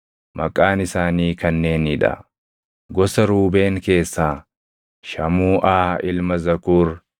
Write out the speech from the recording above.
Maqaan isaanii kanneenii dha: Gosa Ruubeen keessaa Shamuuʼaa ilma Zakuur;